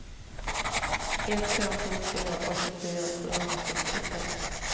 ett fem sju fyra åttiofyra sjuhundrasextiofem